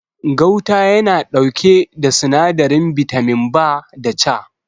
Gauta ya na ɗauke da sinadarin bitamin B da C